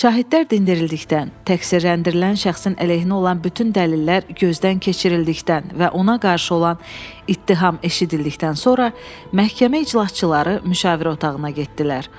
Şahidlər dindirildikdən, təqsirləndirilən şəxsin əleyhinə olan bütün dəlillər gözdən keçirildikdən və ona qarşı olan ittiham eşidildikdən sonra məhkəmə iclasçıları müşavirə otağına getdilər.